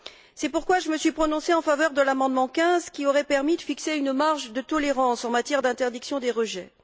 C'est pourquoi je me suis prononcée en faveur de l'amendement 15, qui aurait permis de fixer une marge de tolérance en matière d'interdiction des rejets.